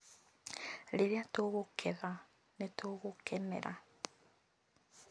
Rĩrĩa tũkũgetha nĩ tũgũkenera